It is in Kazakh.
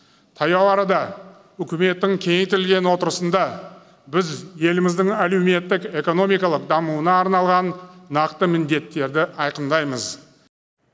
таяу арада үкіметтің кеңейтілген отырысында біз еліміздің әлеуметтік экономикалық дамуына арналған нақты міндеттерді айқындаймыз